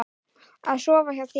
Af sofa hjá þér?